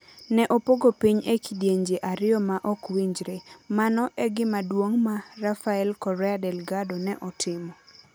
Ne opogo piny e kidienje ariyo ma ok winjre: Mano e gima duong' ma Rafael Correa Delgado ne otimo.